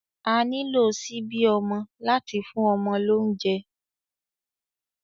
À nilo ṣibi ọmọ lati fun ọmọ lounjẹ